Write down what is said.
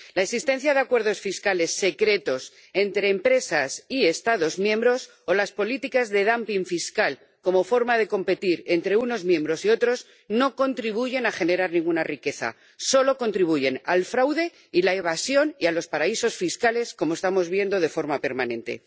La existencia de acuerdos fiscales secretos entre empresas y Estados miembros o las políticas de dumping fiscal como forma de competir entre unos Estados miembros y otros no contribuyen a generar ninguna riqueza, solo contribuyen al fraude y a la evasión y a los paraísos fiscales, como estamos viendo de forma permanente.